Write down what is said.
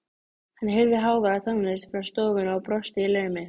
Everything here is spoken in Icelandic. Hann heyrði háværa tónlist frá stofunni og brosti í laumi.